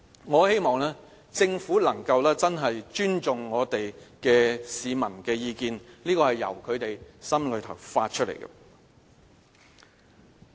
我希望政府能夠真的尊重市民的意見，這是由他們心內發出來的。